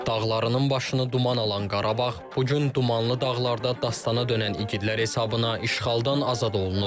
Dağlarının başını duman alan Qarabağ bu gün dumanlı dağlarda dastana dönən igidləri hesabına işğaldan azad olunub.